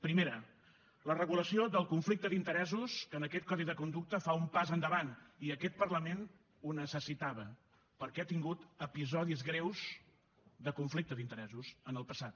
primera la regulació del conflicte d’interessos que en aquest codi de conducta fa un pas endavant i aquest parlament ho necessitava perquè ha tingut episodis greus de conflicte d’interessos en el passat